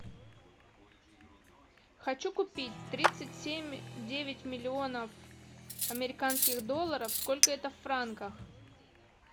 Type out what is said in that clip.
хочу купить тридцать семь девять миллионов американских долларов сколько это в франках